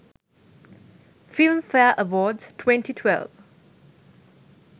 film fare award 2012